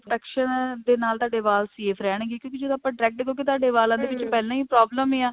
texture ਦੇ ਨਾਲ ਤੁਹਾਡੇ ਵਾਲ safe ਰਹਿਣਗੇ ਕਿਉਂਕਿ ਜਦੋਂ ਆਪਾਂ direct ਕਿਉਂਕਿ ਤੁਹਾਡੇ ਵਾਲਾਂ ਦੇ ਵਿੱਚ ਪਹਿਲਾਂ ਹੀ problem ਆ